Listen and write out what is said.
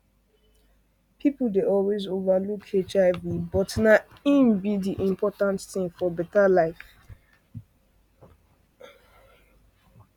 people dey always over look hivbut na hin be important thing for better life